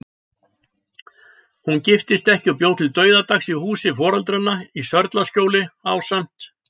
Hún giftist ekki og bjó til dauðadags í húsi foreldranna í Sörlaskjóli, ásamt